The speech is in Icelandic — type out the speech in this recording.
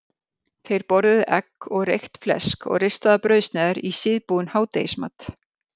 Þeir borðuðu egg og reykt flesk og ristaðar brauðsneiðar í síðbúinn hádegismat.